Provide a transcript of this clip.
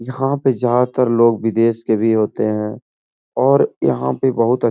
यहाँ पे ज्यादातर लोग विदेश के भी होते हैं और यहाँ पे बहुत अच् --